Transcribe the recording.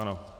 Ano.